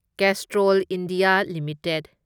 Castrol India limited